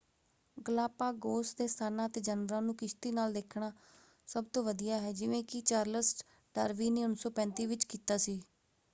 Galapagos ਦੇ ਸਥਾਨਾਂ ਅਤੇ ਜਾਨਵਰਾਂ ਨੂੰ ਕਿਸ਼ਤੀ ਨਾਲ ਦੇਖਣਾ ਸਭਤੋਂ ਵਧੀਆ ਹੈ ਜਿਵੇਂ ਕਿ ਚਾਰਲਸ ਡਾਰਵੀਨ ਨੇ 1935 ਵਿੱਚ ਕੀਤਾ ਸੀ।